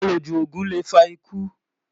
àlọ jù ògún lè fà ikú